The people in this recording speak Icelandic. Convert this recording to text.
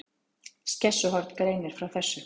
Skessuhorn greinir frá þessu